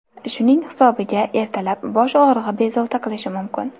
Shuning hisobiga ertalab bosh og‘rig‘i bezovta qilishi mumkin.